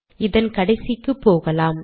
இதன் கடைசிக்கு போகலாம்